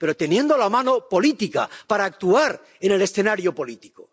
pero teniendo la mano política para actuar en el escenario político.